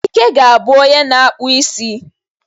Ikechi ga-abu onye na-akpụ isi.